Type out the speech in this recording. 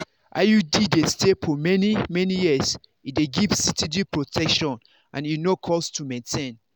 iud dey stay for many-many years e dey give steady protection and e no cost to maintain.